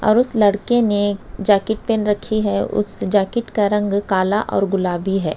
और उस लड़के ने जाकिट पहन रखी है। उस जाकिट का रंग काला और गुलाबी है।